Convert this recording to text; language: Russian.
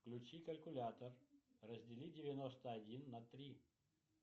включи калькулятор раздели девяносто один на три